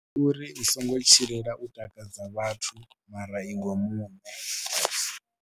Ndi uri u songo tshilela u takadza vhathu mara iwe muṋe.